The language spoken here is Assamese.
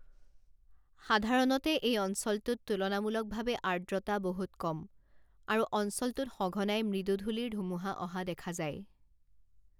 সাধাৰণতে এই অঞ্চলটোত তুলনামূলকভাৱে আৰ্দ্ৰতা বহুত কম, আৰু অঞ্চলটোত সঘনাই মৃদু ধূলিৰ ধুমুহা অহা দেখা যায়।